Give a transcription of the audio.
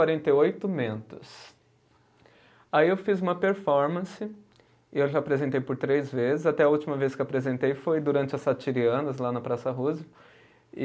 quarenta e oito mentos. Aí eu fiz uma performance, e eu já apresentei por três vezes, até a última vez que eu apresentei foi durante a Satirianas, lá na Praça Roosevelt e